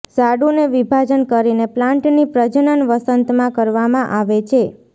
ઝાડુને વિભાજન કરીને પ્લાન્ટની પ્રજનન વસંતમાં કરવામાં આવે છે